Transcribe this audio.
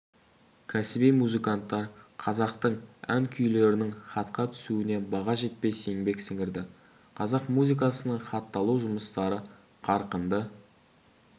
кәсіби музыканттар қазақтың ән-күйлерінің хатқа түсуіне баға жетпес еңбек сіңірді қазақ музыкасының хатталу жұмыстары қарқынды